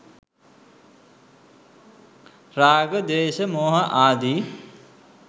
රාග, ද්වේශ, මෝහ ආදි